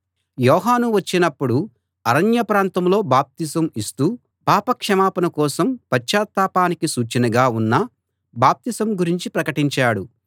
యోహాను వచ్చినపుడు అరణ్య ప్రాంతంలో బాప్తిసం ఇస్తూ పాప క్షమాపణ కోసం పశ్చాత్తాపానికి సూచనగా ఉన్న బాప్తిసం గురించి ప్రకటించాడు